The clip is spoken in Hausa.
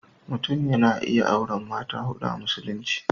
Mutum yana iya auren mata huɗu a Musulunci.